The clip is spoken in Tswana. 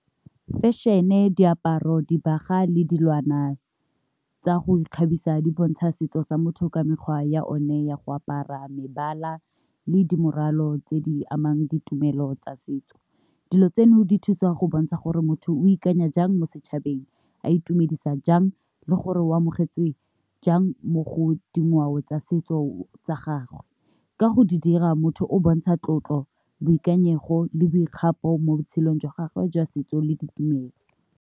Fashion-e, diaparo, le dilwana tsa go ikgabisa di bontsha setso sa motho ka mekgwa ya one ya go apara mebala le dirwalo tse di amang ditumelo tsa setso. Dilo tseno di thusa go bontsha gore motho o ikanya jang mo setšhabeng a itumedisa jang le gore o amogetswe jang mo go dingwao tsa setso tsa gagwe. Ka go di dira motho o bontsha tlotlo boikanyego le boikgapo mo botshelong jwa gagwe jwa setso le ditumelo.